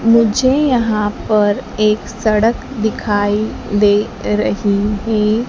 मुझे यहां पर एक सड़क दिखाई दे रही हैं।